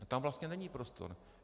Tam vlastně není prostor.